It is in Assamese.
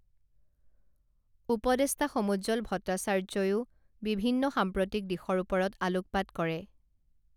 উপদেষ্টা সমুজ্জ্বল ভট্টাচাৰ্যইও বিভিন্ন সাম্প্ৰতিক দিশৰ ওপৰত আলোকপাত কৰে